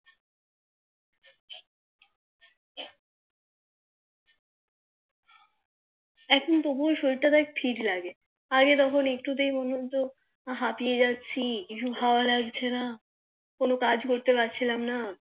এখন তবুও দেখ শরীর টা ঠিক লাগে আগে তো একটু তেই মনে হতো হাপিয়ে যাচ্ছি কিছু ভালো লাগছে না কোনো কাজ করতে পারছিলাম না